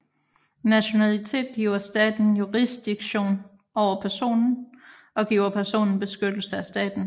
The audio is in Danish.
Nationalitet giver staten jurisdiktion over personen og giver personen beskyttelse af staten